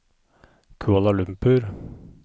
Kuala Lumpur